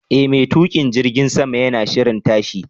E, mai tukin jirgin sama yana shirin tashi.